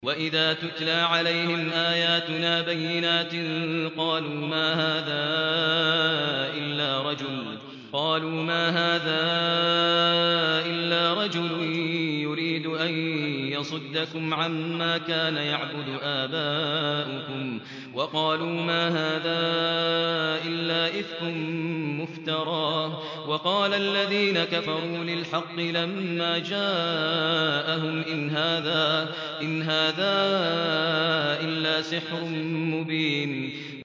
وَإِذَا تُتْلَىٰ عَلَيْهِمْ آيَاتُنَا بَيِّنَاتٍ قَالُوا مَا هَٰذَا إِلَّا رَجُلٌ يُرِيدُ أَن يَصُدَّكُمْ عَمَّا كَانَ يَعْبُدُ آبَاؤُكُمْ وَقَالُوا مَا هَٰذَا إِلَّا إِفْكٌ مُّفْتَرًى ۚ وَقَالَ الَّذِينَ كَفَرُوا لِلْحَقِّ لَمَّا جَاءَهُمْ إِنْ هَٰذَا إِلَّا سِحْرٌ مُّبِينٌ